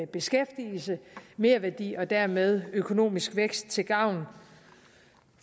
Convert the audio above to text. beskæftigelse og merværdi og dermed økonomisk vækst til gavn